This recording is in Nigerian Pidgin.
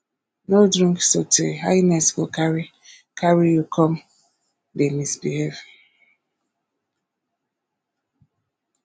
no drink sotey higness go carry carry you come dey misbehave